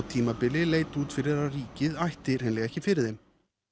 tímabili leit út fyrir að ríkið ætti ekki fyrir þeim